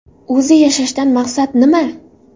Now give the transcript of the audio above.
O‘zi yashashdan maqsad nima?